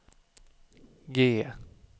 G